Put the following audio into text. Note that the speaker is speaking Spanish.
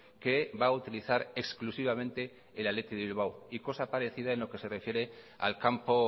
que va a utilizar exclusivamente el athletic de bilbao y cosa parecida en lo que se refiere al campo